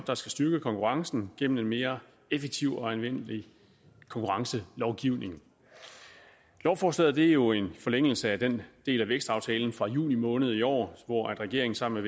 der skal styrke konkurrencen gennem en mere effektiv og anvendelig konkurrencelovgivning lovforslaget er jo en forlængelse af den del af vækstaftalen fra juni måned i år hvor regeringen sammen